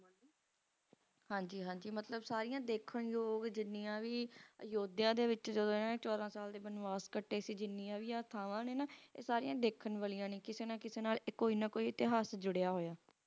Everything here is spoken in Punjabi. ਹਨ ਜੀ ਹਨ ਜੀ ਮਤਲੂਬ ਸਰਿਯਾ ਡੇਕਨ ਜੋਗ ਜਿਨ੍ਯ ਵੀ ਯੋਦਿਯਾ ਵਿਚ ਛੋਡਾ ਸਾਲ ਦੇ ਬਨਵਾਸ ਕਟੀ ਕ ਜਿਨ੍ਯ ਵੀ ਆ ਥਾਂਵਾ ਨੀ ਨਾ ਅਏਯ ਸਰਿਯਾ ਡੇਕਨ ਵਾਲਿਯਾਂ ਨੀ ਕਿਸੀ ਨਾ ਕਿਸੀ ਨਾਲ ਆਯ ਕੋਈ ਨਾ ਕੋਈ ਇਤਹਾਸ ਜੁਰਯ ਹੋਯਾ